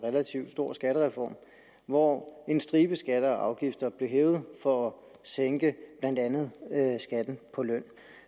relativt stor skattereform hvor en stribe skatter og afgifter blev hævet for at sænke blandt andet skatten på løn